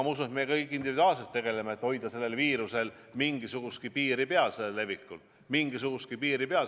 Ma usun, et me kõik individuaalselt tegeleme sellega, et hoida selle viiruse levikul mingisugunegi piir peal.